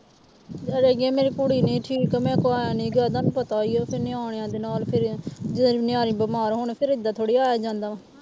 ਅਰੇ ਗੇ ਮੇਰੀ ਕੁੜੀ ਨਹੀਂ ਠੀਕ ਮੇਰੇ ਕੋਲੋਂ ਆ ਨੀ ਗਿਆ ਤੁਹਾਨੂੰ ਪਤਾ ਹੀ ਹੈ ਫਿਰ ਨਿਆਣਿਆਂ ਦੇ ਨਾਲ ਫਿਰ ਜੇ ਨਿਆਣੇ ਬਿਮਾਰ ਹੋਣ ਫਿਰ ਏਦਾਂ ਥੋੜ੍ਹਾ ਆਇਆ ਜਾਂਦਾ।